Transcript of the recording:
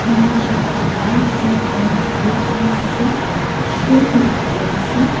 lah shirt tu whine pant blue jeans ase shoe tu black ase.